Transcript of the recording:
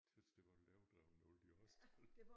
Tys det var lidt overdrevet med alle de årstal